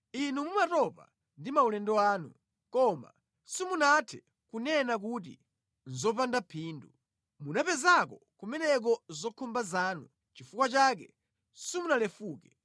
Inu mumatopa ndi maulendo anu, koma simunathe kunena kuti, ‘Nʼzopanda phindu.’ Munapezako kumeneko zokhumba zanu nʼchifukwa chake simunalefuke.